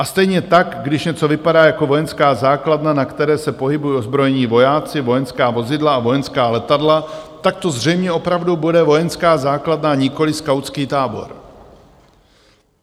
A stejně tak když něco vypadá jako vojenská základna, na které se pohybují ozbrojení vojáci, vojenská vozidla a vojenská letadla, tak to zřejmě opravdu bude vojenská základna, nikoliv skautský tábor.